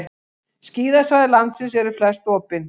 Skíðasvæði landsins eru flest opin